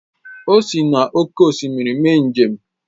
O sị n’oké osimiri mee njem